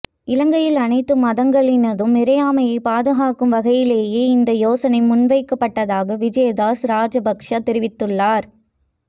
இலங்கையில் அனைத்து மதங்களினதும் இறைமையை பாதுகாக்கும் வகையிலேயே இந்த யோசனை முன்வைக்கப்பட்டதாக விஜயதாஸ ராஜபக்ச தெரிவித்துள்ளார்